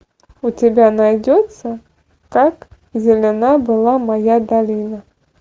у тебя найдется как зелена была моя долина